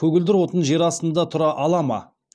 көгілдір отын жер астында тұра ала ма